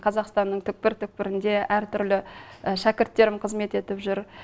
қазақстанның түкпір түкпірінде әртүрлі шәкірттерім қызмет етіп жүр